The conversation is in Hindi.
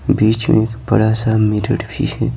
बीच में एक बड़ा सा मिरर भी है।